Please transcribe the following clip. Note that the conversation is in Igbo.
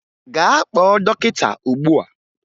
Gaa kpọọ dọkịta ugbua!